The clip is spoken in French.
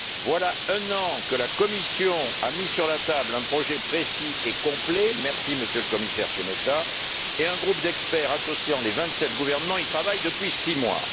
Voilà un an que la Commission a mis sur la table un projet précis et complet merci Monsieur le Commissaire Šemeta et un groupe d'experts associant les vingt sept gouvernements y travaille depuis six mois.